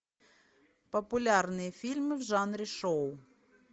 популярные фильмы в жанре шоу